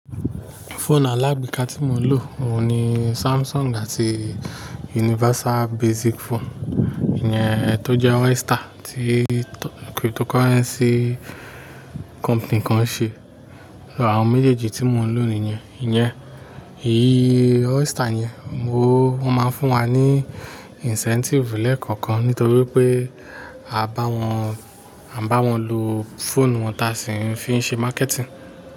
Foonu alágbèéká tí mo ń lò, òun ni Samsung ti Universal Basic Phone. Ìyẹn ẹ tó jẹ Oyster tí Cryptocurrency company kan ṣe. Àwọn méjèèjì tí mo ń lò níyẹn. Ìyẹn, èyí Oyster yẹn, mo, wọ́n máa ń fún wa ní incentive lẹ́ẹ̀kọ̀kan nítorí pé a bá wọn, a bá wọn lo fóònù wọn tá sì ń fi ń ṣe marketing.